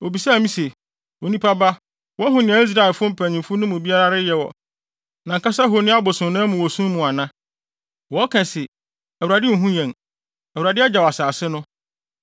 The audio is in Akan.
Obisaa me se, “Onipa ba woahu nea Israelfo mpanyimfo no mu biara reyɛ wɔ nʼankasa honi abosonnan mu wɔ sum mu ana? Wɔka se, ‘ Awurade nhu yɛn; Awurade agyaw asase no!’ ”